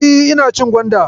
E, ina cin gwanda.